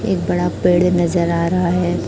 एक बड़ा पेड़ नजर आ रहा है।